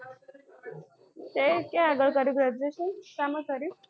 તે ક્યાં આગળ કર્યું graduation શામાં કર્યું?